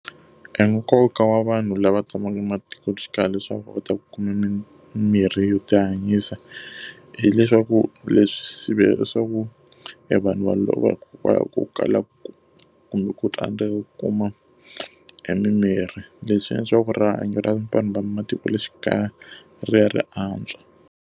Enkoka wa vanhu lava tshamaka ematikoxikaya leswaku va ta kuma mimirhi yo tihanyisa hileswaku leswi leswaku evanhu va lova hikokwalaho ko kala kumbe ku tsandzeka ku kuma e mimirhi, leswi endla leswaku rihanyo ra vanhu va matikoxikaya ri ya ri antswa.